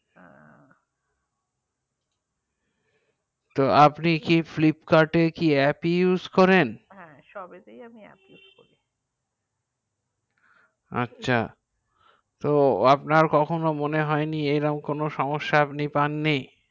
আপনি কি Flipkart কি অ্যাপ use করেন সব এ তে আমি অ্যাপ use করেন আচ্ছা তো আপনার কোন সমেস্যা আপনি পাননি